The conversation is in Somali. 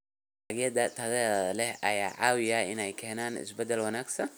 Dalagyada tayada leh ayaa ka caawiya inay keenaan isbeddel wanaagsan.